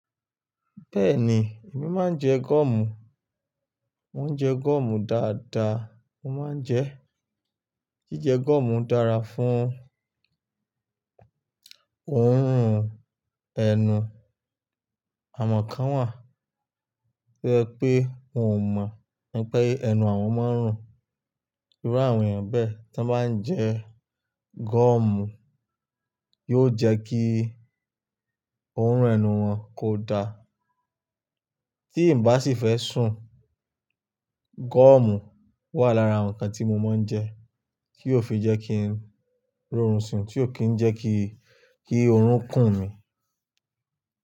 Bẹ́ẹ̀ni, èmi máa ń jẹ gúọ̀mù. Mo ń jẹ gúọ̀mù dáadáa, mo máa ń jẹ. Jíjẹ gúọ̀mù dára fún orun ẹnu. Àmọ̀ kan wà tí ẹ pé n ò mọ̀, pé ẹnu àwọn mọ́ ń rùn. Irú àwọn èèyàn bẹ́ẹ̀ tí wọ́n bá ń jẹ gúọ̀mù yóò jẹ́ kí orun ẹnu wọn kò da. Tí n bá sì fẹ́ sùn, gúọ̀mù wà lára àwọn nǹkan tí mo máa ń jẹ kí ó fi jẹ́ kí n rọrùn sùn, tí ó kì í jẹ́ kí, kí oorun kùn mí.